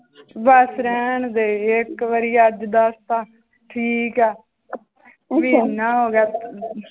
ਬਸ ਰਹਿਣਦੇ ਇੱਕ ਵਾਰੀ ਅੱਜ ਦੱਸਤਾ ਠੀਕ ਹੈ ਮਹੀਨਾ ਹੋ ਗਿਆ